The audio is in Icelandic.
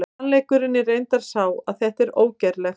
Sannleikurinn er reyndar sá að þetta er ógerlegt!